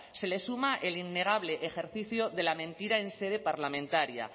se le suma el innegable ejercicio de la mentira en sede parlamentaria